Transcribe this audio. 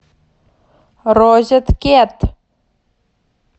розеткед